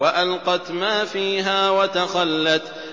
وَأَلْقَتْ مَا فِيهَا وَتَخَلَّتْ